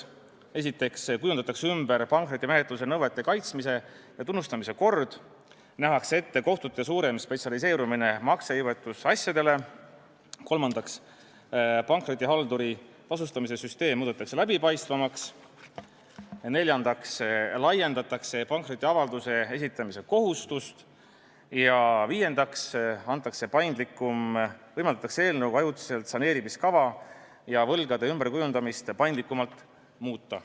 Esiteks kujundatakse ümber pankrotimenetluse nõuete kaitsmise ja tunnustamise kord, teiseks nähakse ette kohtute suurem spetsialiseerumine maksejõuetusasjadele, kolmandaks, pankrotihalduri tasustamise süsteem muudetakse läbipaistvamaks, neljandaks laiendatakse pankrotiavalduse esitamise kohustust ja viiendaks võimaldatakse eelnõuga ajutiselt saneerimiskava ja võlgade ümberkujundamist paindlikumaks muuta.